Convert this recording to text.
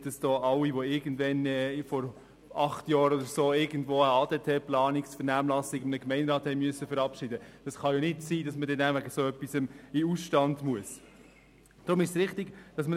Es kann nicht sein, dass alle, die irgendwann – vielleicht vor acht Jahren – eine Planung im Bereich Abfall, Deponie und Transporte (ADT) oder eine Vernehmlassung im Gemeinderat verabschiedet haben, deswegen in den Ausstand treten müssen.